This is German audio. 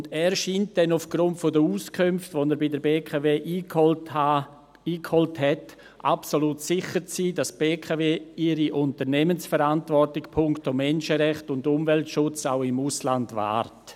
Er scheint dann aufgrund der Auskünfte, die er bei der BKW eingeholt hat, absolut sicher zu sein, dass die BKW ihre Unternehmensverantwortung punkto Menschenrechte und Umweltschutz auch im Ausland wahrt.